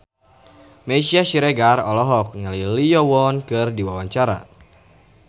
Meisya Siregar olohok ningali Lee Yo Won keur diwawancara